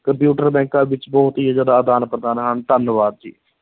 Computer ਬੈਂਕਾਂ ਵਿੱਚ ਬਹੁਤ ਹੀ ਜ਼ਿਆਦਾ ਆਦਾਨ-ਪ੍ਰਦਾਨ ਹਨ, ਧੰਨਵਾਦ ਜੀ।